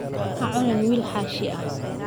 Ha cunin wiil xaashi ah.